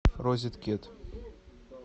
розеткит